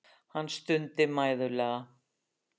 Hann stundi mæðulega.